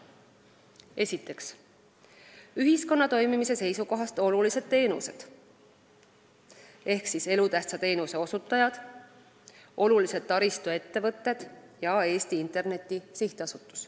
Esiteks, ühiskonna toimimise seisukohast olulised teenused – elutähtsa teenuse osutajad, olulised taristuettevõtted ja Eesti Interneti SA.